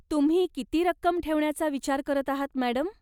तुम्ही किती रक्कम ठेवण्याचा विचार करत आहात, मॅडम?